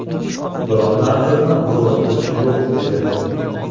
Biron narsadan zoriqish yo‘q edi.